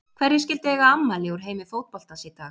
Hverjir skyldu eiga afmæli úr heimi fótboltans í dag?